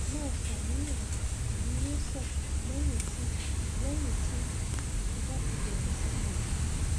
má ṣàníyàn èyí yóò sàn lẹyìn tí lẹyìn tí o bá ti bẹrẹ sí lo oògùn